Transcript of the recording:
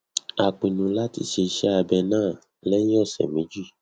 a pinnu láti ṣe ise abẹ náà lẹyìn ọsẹ méjì